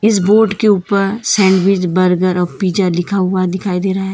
इस बोर्ड के ऊपर सैंडविच बर्गर और पिज़्ज़ा लिखा हुआ दिखाई दे रहा है।